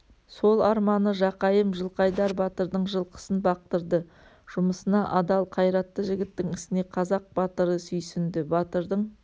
сол арманы жақайым жылқайдар батырдың жылқысын бақтырды жұмысына адал қайратты жігіттің ісіне қазақ батыры сүйсінді батырдың